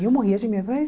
E eu morria de medo ai.